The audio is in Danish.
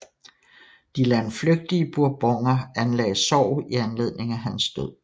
De landflygtige Bourboner anlagde sorg i anledning af hans død